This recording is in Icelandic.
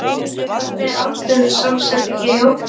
Hvernig er aldurssamsetningin í hópnum?